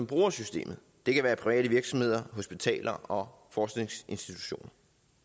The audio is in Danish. bruger systemet det kan være private virksomheder hospitaler og forskningsinstitutioner